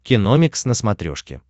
киномикс на смотрешке